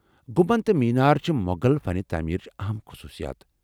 گنٛمبد تہٕ مینار چھِ مۄغل فن تعمیرٕچہِ اہم خصوصیات ۔